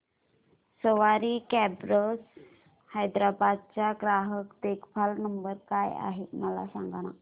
सवारी cabs Hyderabad चा ग्राहक देखभाल नंबर काय आहे मला सांगाना